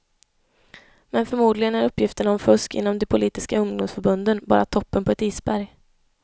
Men förmodligen är uppgifterna om fusk inom de politiska ungdomsförbunden bara toppen på ett isberg.